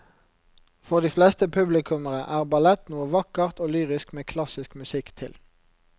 For de fleste publikummere er ballett noe vakkert og lyrisk med klassisk musikk til.